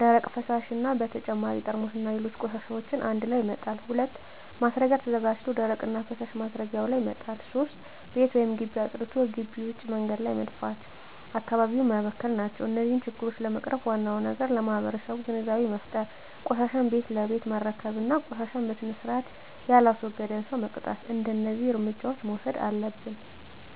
ደረቅ፣ ፈሣሽ እና በተጨማሪ ጠርሙስና ሌሎች ቆሻሻዎችን አንድላይ መጣል። 2. ማስረጊያ ተዘጋጅቶ ደረቅና ፈሣሽ ማስረጊያው ላይ መጣል። 3. ቤት ወይም ግቢ አፅድቶ ግቢ ውጭ መንገድ ላይ በመድፋት አካባቢውን መበከል ናቸው። እነዚህን ችግሮች ለመቅረፍ ዋናው ነገር ለማህበረሠቡ ግንዛቤ መፍጠር፤ ቆሻሻን ቤት ለቤት መረከብ እና ቆሻሻን በስርአት የላስወገደን ሠው መቅጣት። እደዚህ እርምጃዎች መውሠድ አለብን።